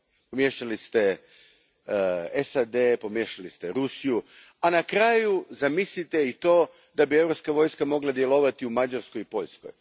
Pomiješali ste SAD, pomiješali ste Rusiju, a na kraju zamislite i to da bi europska vojska mogla djelovati i u Mađarskoj i Poljskoj.